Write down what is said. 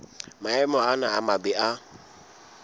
maemo ana a mabe a